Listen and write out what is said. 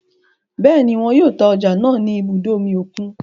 Bẹẹni, wọn yóò ta ọja náà ni ibùdó omí okùn